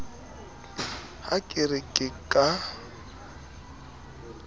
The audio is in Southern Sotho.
ha ke re ke ka